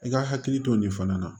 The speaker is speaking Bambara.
I ka hakili to nin fana na